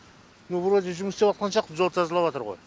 ну вроде жұмыс істеватқан сияқты жол тазалаватыр ғой